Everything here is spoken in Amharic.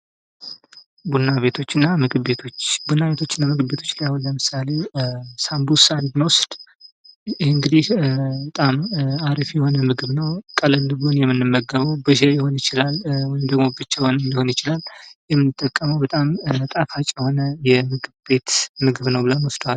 ቡና ቤቶችና መጠጥ ቤቶች፡- ቡና ቤቶችና መጠጥ ቤቶች አሁን ለምሳሌ ሳምቡሳን ብንወስድ ይህ እንግዲህ በጣም አሪፍ የሆነ ምግብ ነው፥ ቀለል ብሎን የምንመገበው ሊሆን ይችላል፥ ወይም ደግሞ ብቻውን ሊሆን ይችላል፥ በጣም ጣፋጭ ሆነ የምግብ ቤት ምግብ ነው ብለን እንወስደዋለን።